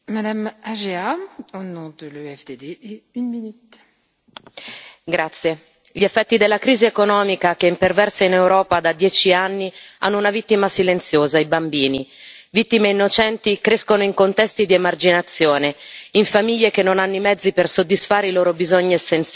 Signora Presidente, onorevoli colleghi, gli effetti della crisi economica che imperversa in Europa da dieci anni hanno una vittima silenziosa i bambini. Vittime innocenti crescono in contesti di emarginazione, in famiglie che non hanno i mezzi per soddisfare i loro bisogni essenziali,